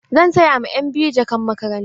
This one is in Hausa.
Zan saya ma ƴan biyu jakan makaranta.